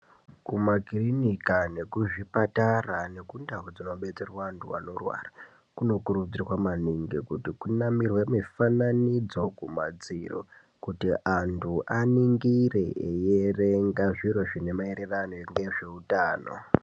Kumakiriniki nekuzvipatara nekundau dzinobetserwa antu anorwara kunokurudzirwa maningi kuti kunamirwe mifananidzo kumadziro kuti antu aningire eiverenga zviro zvine maererano nehutano.